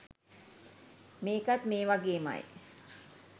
මේකත් මේ වගේමයි